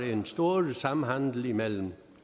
en stor samhandel imellem